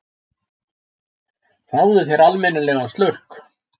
Fáðu þér almennilegan slurk!